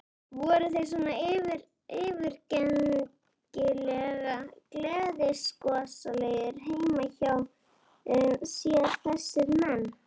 Voru þeir svona yfirgengilega gleiðgosalegir heima hjá sér þessir menn?